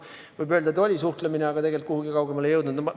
Võib öelda, et oli suhtlemine, aga tegelikult kuhugi kaugemale ei jõudnud.